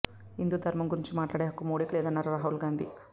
హిందూ ధర్మం గురించి మాట్లాడే హక్కు మోడీకి లేదన్నారు రాహుల్ గాంధీ